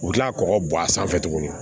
U bɛ kila ka kɔgɔ bɔn a sanfɛ tuguni